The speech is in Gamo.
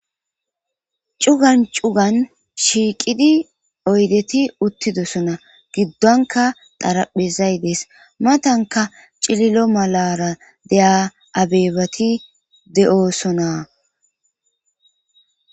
cugan cugan shiiqidi oydeti uttidosona giddanka xaraphezaydes matanka cililo malara deya abeebati de7oosonaa